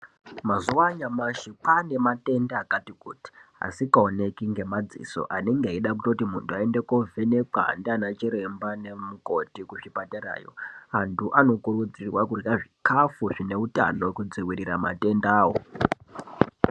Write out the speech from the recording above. Mazuwa anyamashi kwaane matenda akati kuti asingaoneki ngemadziso anenge eida kutoti muntu aende kovhenekwa ndiana chiremba nemukoti kuzvipatarayo antu anokurudzirwa kurya zvikafu zvine utano kudziirira matendawo.